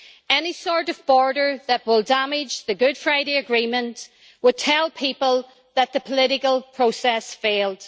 Any sort of border that will damage the Good Friday Agreement will tell people that the political process failed.